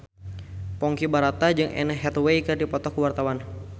Ponky Brata jeung Anne Hathaway keur dipoto ku wartawan